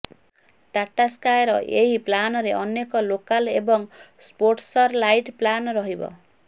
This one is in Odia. ଟାଟା ସ୍କାଏର ଏହି ପ୍ଲାନରେ ଅନେକ ଲୋକାଲ ଏବଂ ସ୍ପୋର୍ଟସର ଲାଇଟ୍ ପ୍ଲାନ୍ ରହିବ